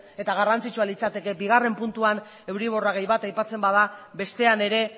eta garrantzitsua litzateke bigarren puntuan euriborra gehi bat aipatzen bada bestean ere